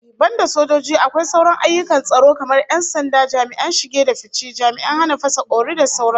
Banda sojoji, akwai sauran ayyukan tsaro kamar 'yan sanda, jami'an shige da fice, jami'an hana fasa kwauri da sauran su